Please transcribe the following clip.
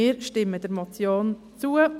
Wir stimmen der Motion zu;